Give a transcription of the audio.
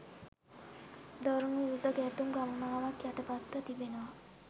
දරුණු යුධ ගැටුම් ගණනාවක් යටපත්ව තිබෙනවා.